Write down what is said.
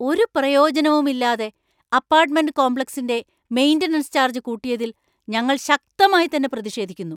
ഒരു പ്രയോജനവും ഇല്ലാതെ അപ്പാർട്ട്‌മെന്‍റ് കോമ്പ്ലക്സിന്‍റെ മെയിന്‍റനൻസ് ചാർജ് കൂട്ടിയതില്‍ ഞങ്ങള്‍ ശക്തമായിത്തന്നെ പ്രതിഷേധിക്കുന്നു.